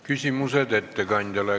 Küsimused ettekandjale.